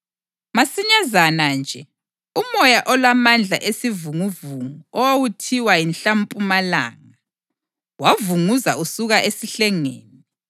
Masinyazana nje, umoya olamandla esivunguvungu owawuthiwa “yiNhlampumalanga” wavunguza usuka esihlengeni.